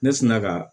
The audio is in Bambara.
Ne sina ka